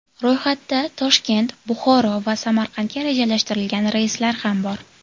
Ro‘yxatda Toshkent, Buxoro va Samarqandga rejalashtirilgan reyslar ham bor.